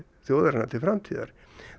þjóðarinnar til framtíðar